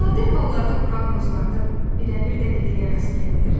Nadir hallarda proqnozlarda birəbir dəqiqliyə rast gəlinirdi.